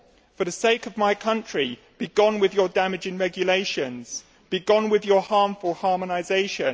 For the sake of my country, be gone with your damaging regulations. Be gone with your harmful harmonisation.